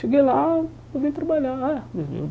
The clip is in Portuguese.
Cheguei lá, eu vim trabalhar ah.